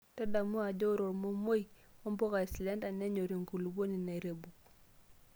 Tadamu ajo ore ormomoi ombukaa eslender nenyor enkupuoni nairebuk.